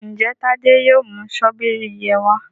Njé Tade yóò mú Ṣọ́bìrì yén wá?